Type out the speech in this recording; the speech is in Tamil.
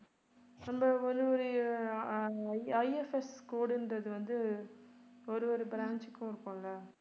அந்த ஒரு ஒரு ஆஹ் IFS code ன்றது வந்து ஒரு ஒரு branch க்கும் இருக்கும்ல